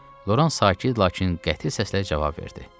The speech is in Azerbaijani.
Loran sakit, lakin qəti səslə cavab verdi: